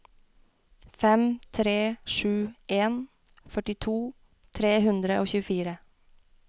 fem tre sju en førtito tre hundre og tjuefire